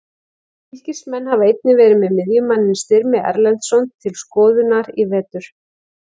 Fylkismenn hafa einnig verið með miðjumanninn Styrmi Erlendsson til skoðunar í vetur.